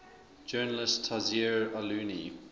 journalist tayseer allouni